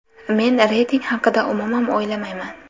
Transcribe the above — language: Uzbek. Men reyting haqida umuman o‘ylamayman.